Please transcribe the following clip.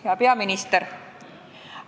Hea peaminister!